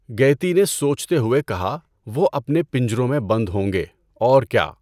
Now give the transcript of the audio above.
گیتی نے سوچتے ہوئے کہا وہ اپنے پنجروں میں بند ہوں گے، اور کیا؟